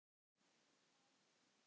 Það breytti afstöðu hans.